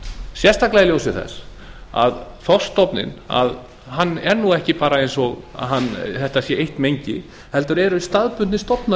sérstaklega í ljósi þess að þorskstofninn er bara ekki eins og þetta sé eitt mengi heldur eru staðbundnir stofnar